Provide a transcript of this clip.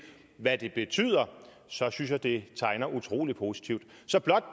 hvad det betyder så synes jeg det tegner utrolig positivt så